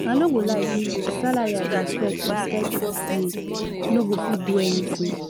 i no go lie give you the salary i dey expect expect dis year no go fit do anything